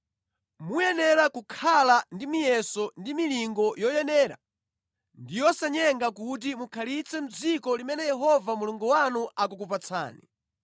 Muyenera kukhala ndi miyeso ndi milingo yoyenera ndi yosanyenga kuti mukhalitse mʼdziko limene Yehova Mulungu wanu akukupatsani.